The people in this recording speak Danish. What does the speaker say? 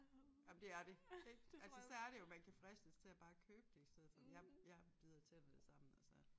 Ej men det er det ik altså særligt jo man kan fristes til at bare købe det i stedet for men jeg jeg bider tænderne sammen og så